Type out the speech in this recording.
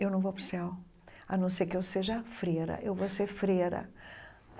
Eu não vou para o céu, a não ser que eu seja freira, eu vou ser freira.